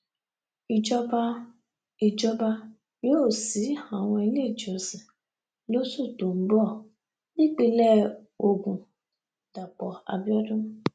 ìjọba ìjọba yóò ṣí àwọn iléèjọsìn lóṣù tó ń bọ nípìnlẹ ogun dàpọ abiodun